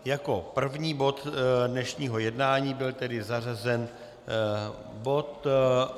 Jako první bod dnešního jednání byl tedy zařazen bod